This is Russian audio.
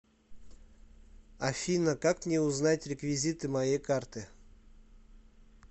афина как мне узнать реквизиты моей карты